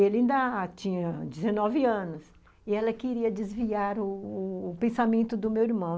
Ele ainda tinha dezenove anos e ela queria desviar u u pensamento do meu irmão.